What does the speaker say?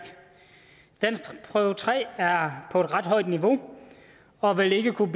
danskprøve tre er på et ret højt niveau og vil ikke kunne